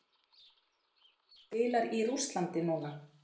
Nei hann spilar í Rússlandi núna.